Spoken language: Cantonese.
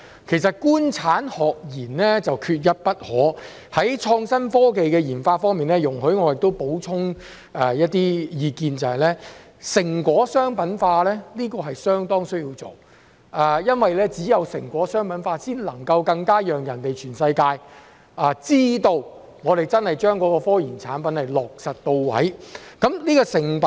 其實，"官產學研"缺一不可，在創新科技的研發方面，容許我補充一些意見，就是成果商品化是相當需要做的，因為只有將成果商品化，才更能讓全世界知道我們真的將科研產品落實到位。